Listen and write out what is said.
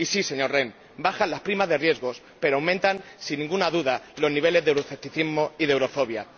Y sí, señor Rehn, bajan las primas de riesgo pero aumentan, sin ninguna duda, los niveles de euroescepticismo y de eurofobia.